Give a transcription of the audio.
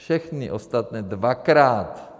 Všechny ostatní dvakrát.